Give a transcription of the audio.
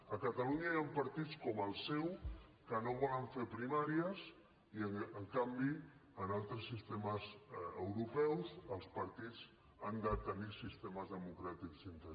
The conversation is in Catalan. a catalunya hi han partits com el seu que no volen fer primàries i en canvi en altres sistemes europeus els partits han de tenir sistemes democràtics interns